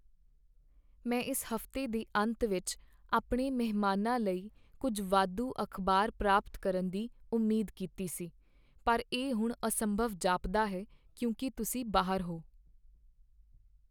ਮੈਂ ਇਸ ਹਫ਼ਤੇ ਦੇ ਅੰਤ ਵਿੱਚ ਆਪਣੇ ਮਹਿਮਾਨਾਂ ਲਈ ਕੁੱਝ ਵਾਧੂ ਅਖ਼ਬਾਰ ਪ੍ਰਾਪਤ ਕਰਨ ਦੀ ਉਮੀਦ ਕੀਤੀ ਸੀ, ਪਰ ਇਹ ਹੁਣ ਅਸੰਭਵ ਜਾਪਦਾ ਹੈ ਕਿਉਂਕਿ ਤੁਸੀਂ ਬਾਹਰ ਹੋ।